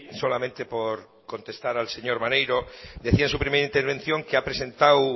solamente por contestar al señor maneiro decía en su primera intervención que ha presentado